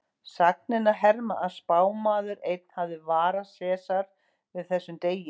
Sagnir herma að spámaður einn hafi varað Sesar við þessum degi.